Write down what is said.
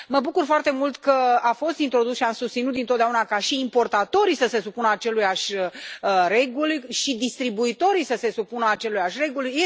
Mă bucur foarte mult că a fost introdus și am susținut dintotdeauna ca și importatorii să se supună acelorași reguli și distribuitorii să se supună acelorași reguli.